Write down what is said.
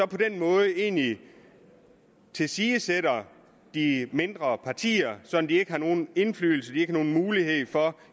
på den måde egentlig tilsidesætte de mindre partier så de ikke har nogen indflydelse eller mulighed for